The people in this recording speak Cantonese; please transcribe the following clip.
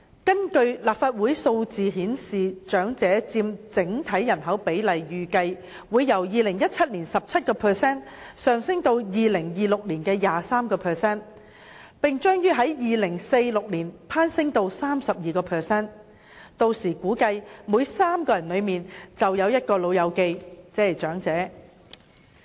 根據立法會提供的數字顯示，長者佔整體人口比例預計會由2017年的 17% 上升至2026年的 23%， 並將於2046年攀升至 32%， 屆時估計每3人之中便有一名"老友記"，亦即長者。